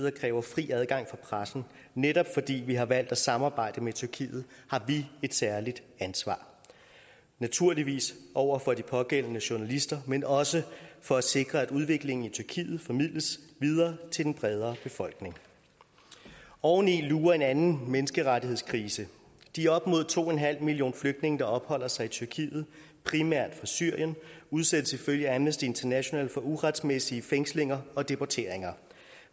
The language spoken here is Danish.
og kræver fri adgang for pressen netop fordi vi har valgt at samarbejde med tyrkiet har vi et særligt ansvar naturligvis over for de pågældende journalister men også for at sikre at udviklingen i tyrkiet formidles videre til den bredere befolkning oven i lurer en anden menneskerettighedskrise de op mod to millioner flygtninge der opholder sig i tyrkiet primært fra syrien udsættes ifølge amnesty international for uretmæssige fængslinger og deporteringer